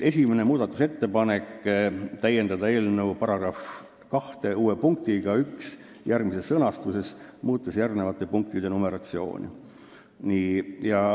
Esimene muudatusettepanek: "Täiendada eelnõu § 2 uue punktiga 1 järgmises sõnastuses, muutes järgnevate punktide numeratsiooni.